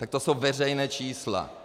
Tak to jsou veřejná čísla.